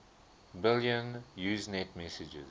billion usenet messages